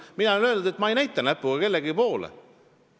Mina olen öelnud, et ma ei näita näpuga kellegi poole.